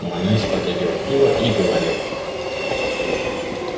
манлис потягивал пиво и говорил